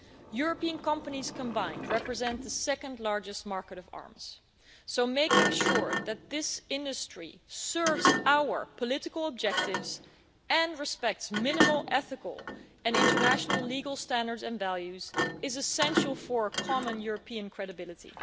it. European companies combined represent the second largest market of arms, so making sure that this industry serves our political objectives and respects minimal ethical and international legal standards and values is essential for a common European credibility.